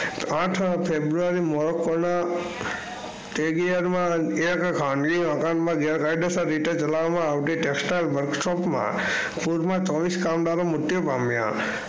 આઠ ફેબુઆરી ગેરકાયદેસર રીતે ચાલવા માં આવતી ટેક્સ ટાઈઅલ વર્ક શોપ માં પુર માં ચોવિસ કામદારો મૃત્યુ પામ્યા.